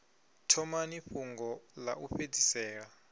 thomani fhungo ḽa u fhedzisela